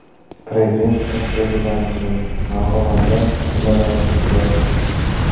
Prezident tashrifidan so‘ng Marg‘ilonda nimalar o‘zgardi?